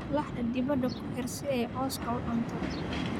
Laxda dibadda ku xiir si ay cawska u cunto